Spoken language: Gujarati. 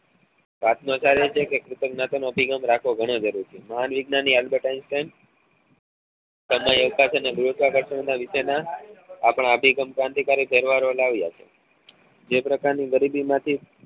વાત માં ચાલે છે કે વાતો ગણી કરું છું મહાન વૈજ્ઞાની એલબર્ટ આઈન્સ્તેત ગુરુત્વાકર્ષણ ના નીચે ના આપણા અભિગમ ક્રાંતિકારી તહેવારો લાવ્યા છે જે પ્રકાર ની ગરીબી માંથી